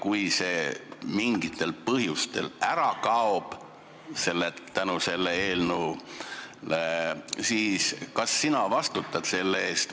Kui see mingitel põhjustel ära kaob, selle eelnõu pärast, siis kas sina vastutad selle eest?